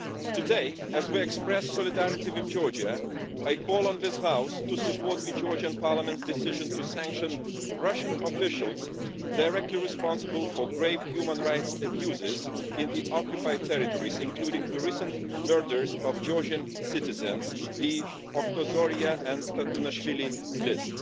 Today, as we express solidarity with Georgia, I call on this House to support the Georgian Parliament's decision to sanction Russian officials directly responsible for grave human rights abuses in the occupied territories, including the recent murders of Georgian citizens the Otkhozoria and Tatunashvili list.